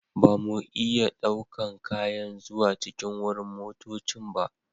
Ba mu iya ɗaukan kayan zuwa cikin wurin motoccin ba.